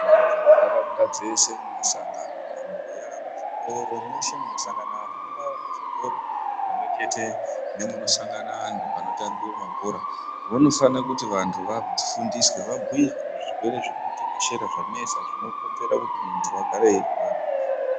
Vantu muntaraunda dzese mumusangano, mumabuya muzvitoro mweshe munosangana vantu mungaa muzvikoro pamwe chete nemunosangana antu panotambive mabhora. Vanofana kuti vantu vafundiswe vabhuirwe zvirwere zviri kutekeshera zvanetsa zvinokonzera kuti muntu agare eirwara.